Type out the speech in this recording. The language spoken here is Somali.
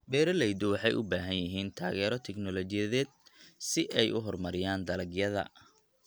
Beeraleydu waxay u baahan yihiin taageero tignoolajiyadeed si ay u horumariyaan dalagyada.